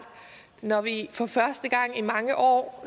når vi for første gang i mange år